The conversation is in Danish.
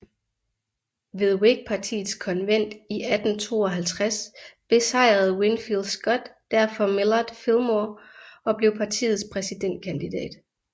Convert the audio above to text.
Ved Whigpartiets konvent i 1852 besejrede Winfield Scott derfor Millard Fillmore og blev partiets præsidentkandidat